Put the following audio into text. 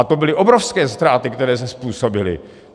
A to byly obrovské ztráty, které se způsobily.